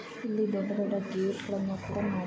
ಇಲ್ಲಿ ದೊಡ್ಡ ದೊಡ್ಡ ಗೇಟ್ಗಳನ್ನು ಕೂಡಾ ಮಾಡಿ--